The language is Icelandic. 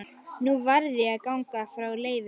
Nú varð ég að ganga frá Leifi.